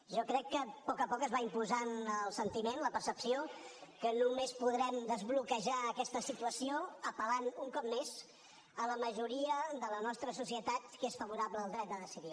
jo crec que a poc a poc es va imposant el sentiment la percepció que només podrem desbloquejar aquesta situació apel·lant un cop més a la majoria de la nostra societat que és favorable al dret a decidir